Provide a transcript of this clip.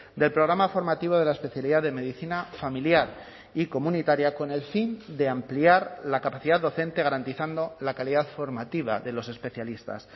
del programa formativo de la especialidad de medicina familiar y comunitaria con el fin de ampliar la capacidad docente garantizando la calidad formativa de los especialistas